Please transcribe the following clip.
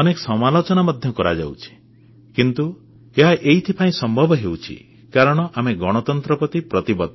ଅନେକ ସମାଲୋଚନା ମଧ୍ୟ କରାଯାଉଛି କିନ୍ତୁ ଏହା ଏଥିପାଇଁ ସମ୍ଭବ ହେଉଛି କାରଣ ଆମେ ଗଣତନ୍ତ୍ର ପ୍ରତି ଅଙ୍ଗୀକାରବଦ୍ଧ